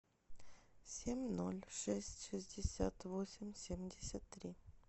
семь ноль шесть шестьдесят восемь семьдесят три